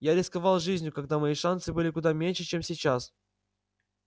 я рисковал жизнью когда мои шансы были куда меньше чем сейчас